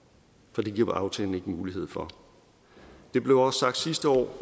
for det giver aftalen ikke mulighed for det blev også sagt sidste år og